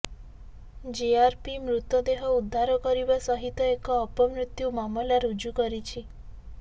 GRP ମୃତଦେହ ଉଦ୍ଧାର କରିବା ସହିତ ଏକ ଅପମୃତ୍ୟୁ ମାମଲା ରୁଜୁ କରିଛି